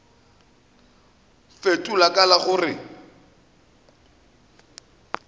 fetola ka la go re